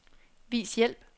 Vis hjælp.